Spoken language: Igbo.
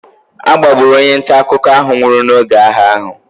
E mechiri onye nta akụkọ ahụ nwụrụ n'oge agha ahụ.